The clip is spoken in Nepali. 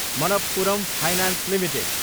Manappuram finance Ltd